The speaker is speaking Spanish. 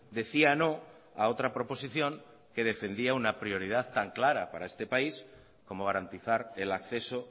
decía no a otra proposición que defendía una prioridad tan clara para este país como garantizar el acceso